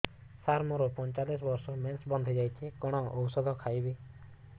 ସାର ମୋର ପଞ୍ଚଚାଳିଶି ବର୍ଷ ମେନ୍ସେସ ବନ୍ଦ ହେଇଯାଇଛି କଣ ଓଷଦ ଖାଇବି